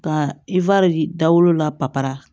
Ka dawolo la papara